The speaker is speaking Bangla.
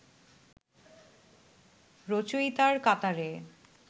রচয়িতার কাতারে